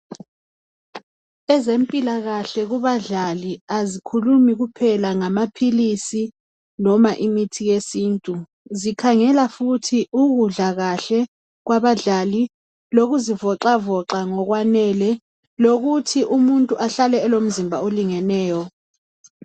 Ezempilakahle kubadlali azikhulumi kuphela ngamaphilisi noma lmithi yesiNtu. Zikhangela futhi ukudla kahle kwabadlali lokuzivoxavoxa ngokwanele lokuthi umuntu ahlale elomzimba olingeneyo.